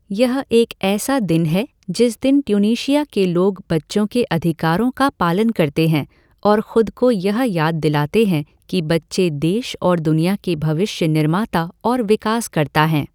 यह एक ऐसा दिन है जिस दिन ट्यूनीशिया के लोग बच्चों के अधिकारों का पालन करते हैं और खुद को यह याद दिलाते हैं कि बच्चे देश और दुनिया के भविष्य निर्माता और विकासकर्ता हैं।